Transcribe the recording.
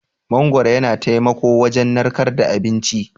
Mangwaro yana taimako wujan narkar da abinci.